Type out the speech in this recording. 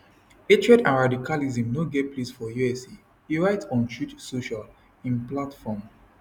hatred and radicalism no get place for usa e write on truth social im platform